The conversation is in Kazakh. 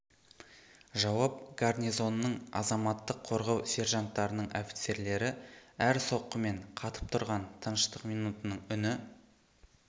жауап гарнизонның азаматтық қорғау сержанттарының офицерлері әр соққымен қатып тұрған тыныштық минутының үні